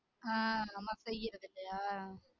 ஆஹ் நம்ம